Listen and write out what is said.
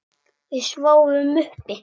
Við sváfum uppi.